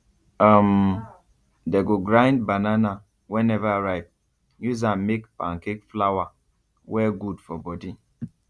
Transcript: um they go grind banana wey never ripe use am make pancake flour wey good for body